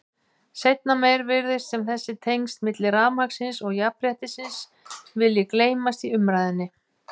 Seinna meir virðist sem þessi tengsl milli rafmagnsins og jafnréttisins vilji gleymast í umræðunni.